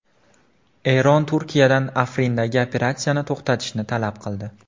Eron Turkiyadan Afrindagi operatsiyani to‘xtatishni talab qildi.